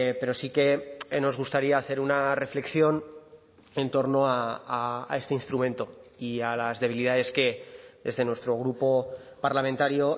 pero sí que nos gustaría hacer una reflexión en torno a este instrumento y a las debilidades que desde nuestro grupo parlamentario